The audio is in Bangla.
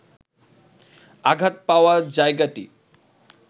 আঘাত পাওয়া জায়গাটি